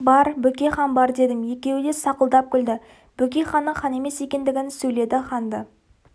бар бөкейхан деген хан бар дедім екеуі де сақылдап күлді бөкейханның хан емес екендігін сөйледі ханды